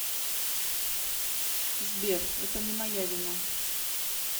сбер это не моя вина